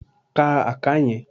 Ka àká yẹn!